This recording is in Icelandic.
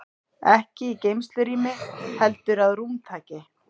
Ekki í geymslurými heldur að rúmtaki.